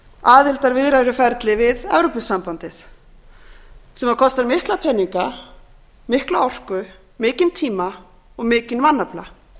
aðildarviðræðuferli við evrópusambandið sem kostar mikla peninga mikla orku mikinn tíma og mikinn mannafla